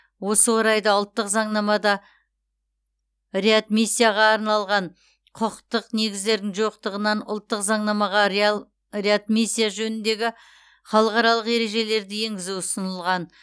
осы орайда ұлттық заңнамада реадмиссияға арналған құқықтық негіздердің жоқтығынан ұлттық заңнамаға реал реадмиссия жөніндегі халықаралық ережелерді енгізу ұсынылған